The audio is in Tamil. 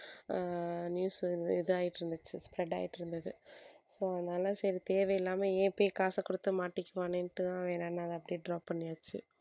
ஆஹ் news வந்து இது ஆயிட்டு இருந்துச்சு spread ஆயிட்டு இருந்தது so அதனால சரி தேவையில்லாம ஏன் போய் காச கொடுத்து மாட்டிக்குவானேன்னு ஏன்னா நாங்க அப்படியே drop பண்ணியாச்சு